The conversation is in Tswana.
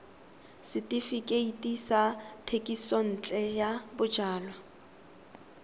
setefikeiti sa thekisontle ya bojalwa